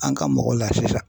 An ka mɔgɔ laafiya.